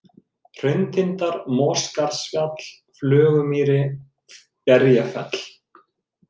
Hrauntindar, Mosaskarðsfjall, Flögumýri, Berjafell